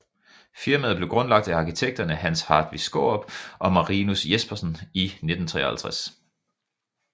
Firmaet blev grundlagt af arkitekterne Hans Hartvig Skaarup og Marinus Jespersen i 1953